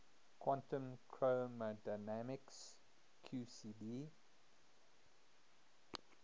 quantum chromodynamics qcd